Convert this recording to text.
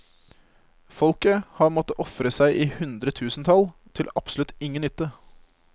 Folket har måttet ofre seg i hundretusentall til absolutt ingen nytte.